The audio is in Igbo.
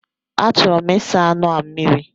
A chọrọ m ịsa anụ a mmiri.